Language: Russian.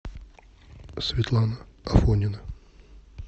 светлана афонина